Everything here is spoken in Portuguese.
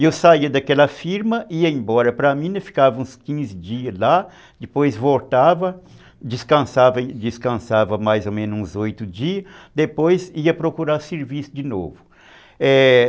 E eu saía daquela firma, ia embora para a mina, ficava uns quinze dias lá, depois voltava, descansava descansava mais ou menos uns oito dias, depois ia procurar serviço de novo, é...